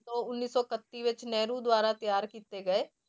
ਤੋਂ ਉੱਨੀ ਸੌ ਇਕੱਤੀ ਵਿੱਚ ਨਹਿਰੂ ਦੁਆਰਾ ਤਿਆਰ ਕੀਤੇ ਗਏ।